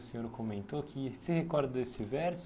O senhor comentou que se recorda desse verso.